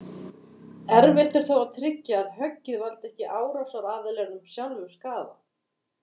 Erfitt er þó að tryggja að höggið valdi ekki árásaraðilanum sjálfum skaða.